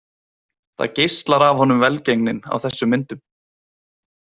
Það geislar af honum velgengnin á þessum myndum.